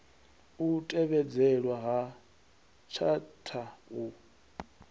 u tevhedzelwa ha tshatha u